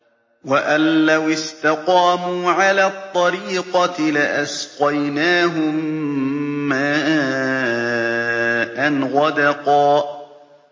وَأَن لَّوِ اسْتَقَامُوا عَلَى الطَّرِيقَةِ لَأَسْقَيْنَاهُم مَّاءً غَدَقًا